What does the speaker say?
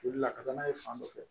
Joli la ka taa n'a ye fan dɔ fɛ